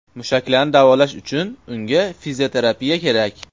Mushaklarini davolash uchun unga fizioterapiya kerak.